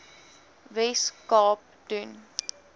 wes kaap doen